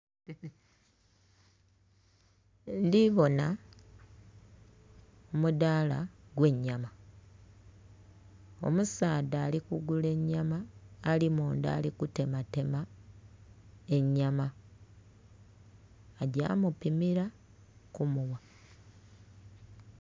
Ndhibona omudhala ogw'enyama, omusaadha alikugula enyama ali mundha alikutematema enyama agya mupimira kumugha.